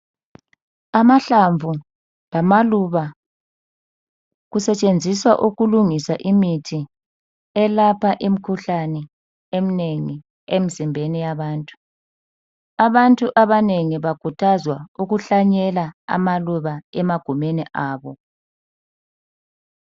Amahlamvu lamaluba kusetshenziswa ukulungisa imithi elapha imikhuhlane eminengi emizimbeni yabantu abantu abanengi bakhuthazwa ukuhlanyela amaluba emagumeni abo.